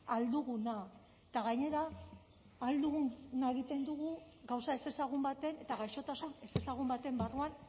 ahal duguna eta gainera ahal duguna egiten dugu gauza ezezagun baten eta gaixotasun ezezagun baten barruan